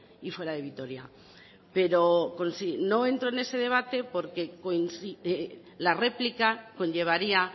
y fuera de vitoria pero no entro en ese debate porque la réplica conllevaría